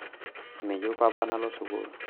meyieu papa nalo sukul